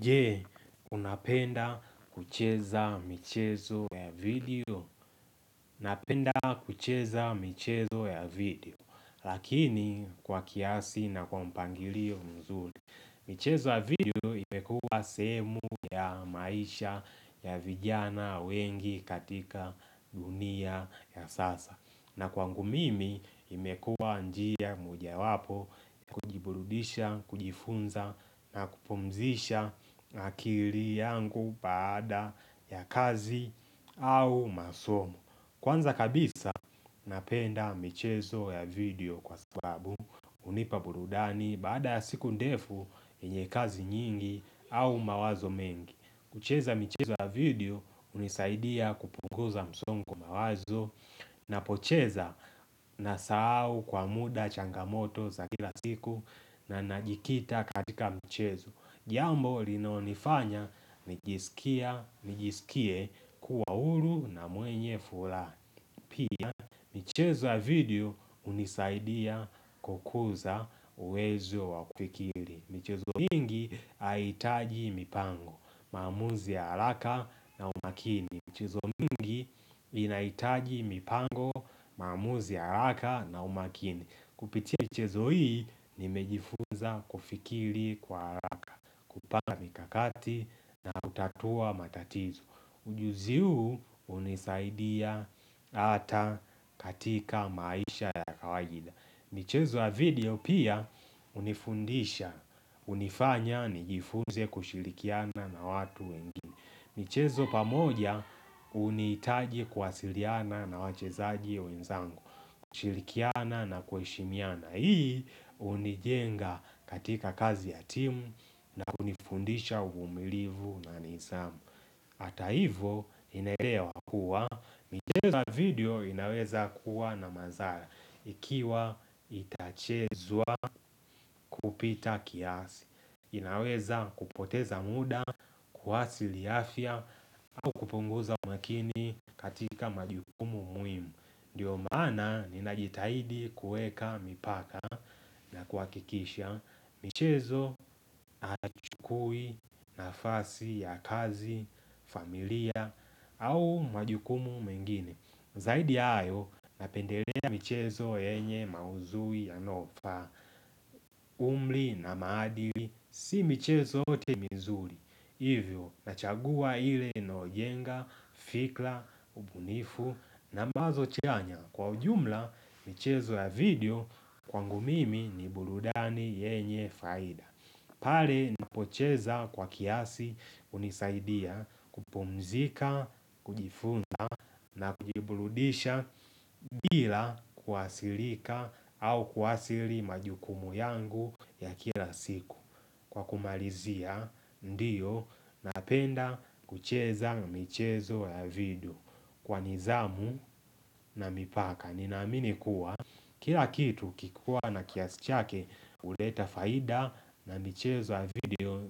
Je, unapenda kucheza michezo ya video? Napenda kucheza michezo ya video lakini kwa kiasi na kwa mpangilio mzuri. Michezo ya video imekua sehemu ya maisha ya vijana wengi katika dunia ya sasa. Na kwangu mimi imekua njia mojawapo ya kujiburudisha, kujifunza na kupumzisha akili yangu baada ya kazi au masomo Kwanza kabisa napenda michezo ya video kwa sababu hunipa burudani baada ya siku ndefu yenye kazi nyingi au mawazo mengi kucheza mchezo ya video hunisaidia kupunguza msongo wa mawazo napocheza nasahau kwa muda changamoto za kila siku na najikita katika mchezo. Jambo linaonifanya nijisikie kuwa huru na mwenye furaha pia michezo ya video hunisaidia kukuza uwezo wa kufikiri. Michezo mingi haitaji mipango, maamuzi ya haraka na umakini. Michezo mingi inahitaji mipango, maamuzi ya haraka na umakini. Kupitia michezo hii, nimejifunza kufikiri kwa haraka. Kupanga mikakati na utatua matatizo. Ujuzi huu hunisaidia hata katika maisha ya kawaida. Michezo ya video pia hunifundisha, hunifanya, nijifunze kushirikiana na watu wengine michezo pamoja, huniitaji kwasiliana na wachezaji wenzangu kushirikiana na kuheshimiana Hii, hunijenga katika kazi ya timu na hunifundisha uvumilivu na nizamu Hata hivo, ninaelewa kuwa, michezo ya video inaweza kuwa na mazara ikiwa itachezwa kupita kiasi inaweza kupoteza muda, kuathirii afya au kupunguza makini katika majukumu muhimu Ndiyo maana ninajitahidi kueka mipaka na kuakikisha michezo haichukui nafasi ya kazi, familia au majukumu mengine Zaidi ya hayo napendelea michezo yenye maudhui yanayo faa umri na maadili si michezo yote ni nzuri Hivyo nachagua ile anayo jenga, fikra, ubunifu na mawazo chanya kwa ujumla michezo ya video kwangu mimi ni burudani yenye faida pale napocheza kwa kiasi hunisaidia kupumzika, kujifunza na kujiburudisha bila kuathirika au kuathiri majukumu yangu ya kila siku Kwa kumalizia ndiyo napenda kucheza michezo ya video kwa nidhamu na mipaka Ninaamini kuwa kila kitu kikuwa na kiasi chake huleta faida na michezo ya video